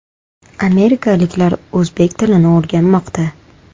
Amerikaliklar o‘zbek tilini o‘rganmoqda.